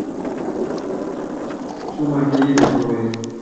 shomo akeyie tudukuya